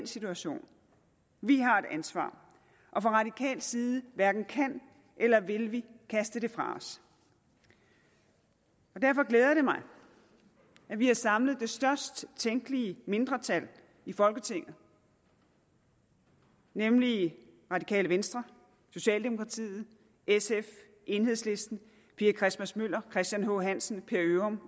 situation vi har et ansvar fra radikal side hverken kan eller vil vi kaste det fra os derfor glæder det mig at vi har samlet det størst tænkelige mindretal i folketinget nemlig radikale venstre socialdemokratiet sf enhedslisten pia christmas møller christian h hansen per ørum